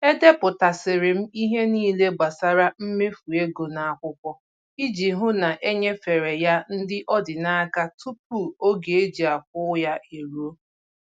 Edepụtasịrị m ihe niile gbasara mmefu ego n'akwụkwọ iji hụ na enyefere ya ndị ọ dị n'aka tupu oge e ji akwụ ya eruo